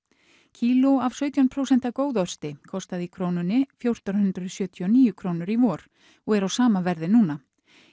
kíló af sautján prósent kostaði í krónunni fjórtán hundruð sjötíu og níu krónur í vor og er á sama verði núna